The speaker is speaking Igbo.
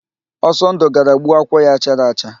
Ọsọndụ gara gbuo akwụ ya chara acha.